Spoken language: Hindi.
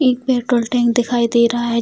एक पेट्रोल टैंक दिखाई दे रहा है ।